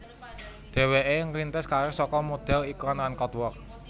Dhéwéké ngrintis karir saka modhél iklan lan catwalk